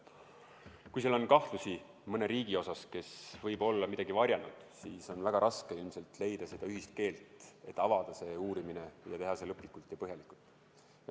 Kui seal on kahtlusi, et mõni riik võib olla midagi varjanud, siis on väga raske leida ühist keelt, et avada see uurimine ja teha seda lõplikult ja põhjalikult.